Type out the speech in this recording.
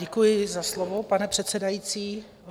Děkuji za slovo, pane předsedající.